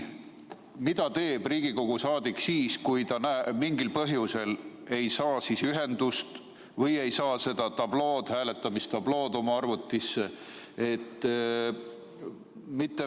Mida teeb Riigikogu liige siis, kui ta mingil põhjusel ei saa ühendust või ei saa seda hääletamistablood oma arvutisse?